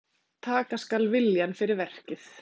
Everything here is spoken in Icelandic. Taka skal viljann fyrir verkið.